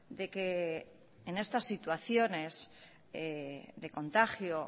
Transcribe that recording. de que en estas situaciones de contagio